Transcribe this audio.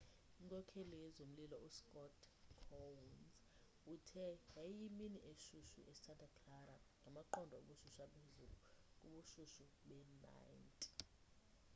inkokheli yezomlilo uscott kouns uthe yayiyimini eshushu esanta clara ngamaqondo obushushu aphezulu kubushushu bee-90